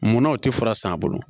Munnaw tɛ fura san a bolo